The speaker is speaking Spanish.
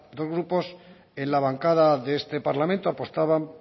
dos grupos en la bancada de este parlamento apostaban